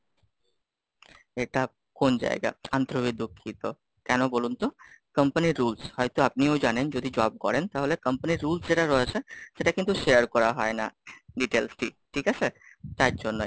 এটা কোন জায়গা? আন্তরিক ভাবে দুঃখিত, কেন বলুন তো? company র Rules হয়তো আপনিও জানেন? যদি job করেন তাহলে company র Rules যেটা রয়েছে, সেটা কিন্তু share করা হয় না, Details টি, ঠিক আছে? তার জন্যই।